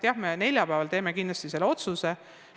Aga neljapäeval me kindlasti selle otsuse teeme.